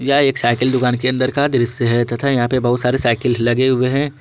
यह एक साइकिल दुकान के अंदर का दृश्य है तथा यहां पे बहुत सारी साइकिल लगे हुए हैं।